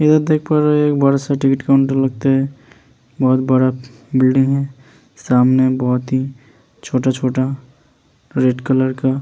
देख पा रहे हैं एक बाद सा काउन्टर लगता है बोहोत बड़ा बिल्डिंग है। सामने बोहोत ही छोटा-छोटा रे रेड कलर का --